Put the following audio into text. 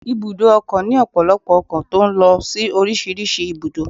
Ibùdó ọkọ̀ ni ọpọlọpọ ọkọ̀ tó ń lọ sí orísìírísìí ibùdó